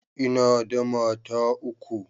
ina da mata uku